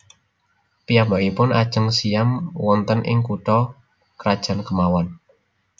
Piyambakipun ajeng siyam wonten ing kutha krajan kemawon